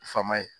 Faama ye